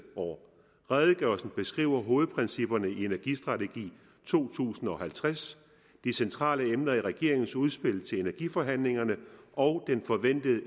år redegørelsen beskriver hovedprincipperne i energistrategi to tusind og halvtreds de centrale emner i regeringens udspil til energiforhandlingerne og den forventede